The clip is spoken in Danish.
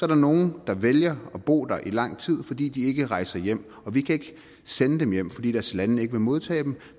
der nogle der vælger at bo der i lang tid fordi de ikke rejser hjem og vi kan ikke sende dem hjem fordi deres lande ikke vil modtage dem